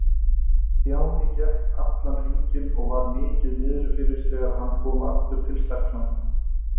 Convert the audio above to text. Stjáni gekk allan hringinn og var mikið niðri fyrir þegar hann kom aftur til stelpnanna.